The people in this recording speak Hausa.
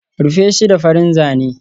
Rufe shi da farin zane